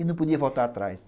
e não podia voltar atrás.